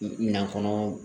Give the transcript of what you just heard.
Nafolo